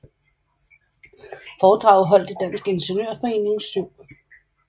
Foredrag holdt i Dansk Ingeniørforening 7